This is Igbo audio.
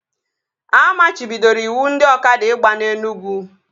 A machibidoro ịwụ ndị ọkada ịgba na Enugwu